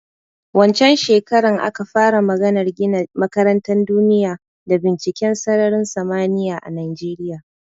Wancen shekaran aka fara maganar gina makarantan duniya da binciken sararin samaniya a Najeriya